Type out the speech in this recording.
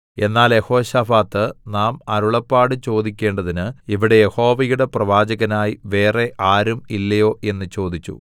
എന്നാൽ യെഹോശാഫാത്ത് നാം അരുളപ്പാട് ചോദിക്കേണ്ടതിന് ഇവിടെ യഹോവയുടെ പ്രവാചകനായി വേറെ ആരും ഇല്ലയോ എന്ന് ചോദിച്ചു